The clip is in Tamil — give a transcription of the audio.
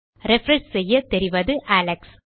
ரிஃப்ரெஷ் செய்ய தெரிவது அலெக்ஸ்